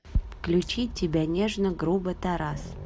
включи тебя нежно грубо тарас